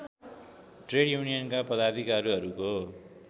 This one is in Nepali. ट्रेड युनियनका पदाधिकारीहरूको